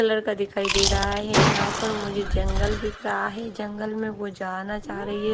Colour का दिखाई दे रहा है यहां पर मुझे जंगल दिख रहा है जंगल में वो जाना चाह रही है।